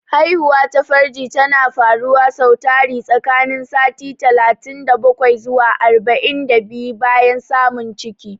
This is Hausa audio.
Haihuwa ta farji tana faruwa sau tari tsakanin sati talatin da bakwai zuwa arba'in da biyu bayan samun ciki.